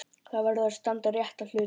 Það verður að standa rétt að hlutunum.